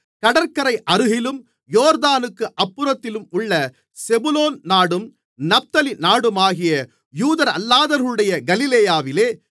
கடற்கரை அருகிலும் யோர்தானுக்கு அப்புறத்திலும் உள்ள செபுலோன் நாடும் நப்தலி நாடுமாகிய யூதரல்லாதவர்களுடைய கலிலேயாவிலே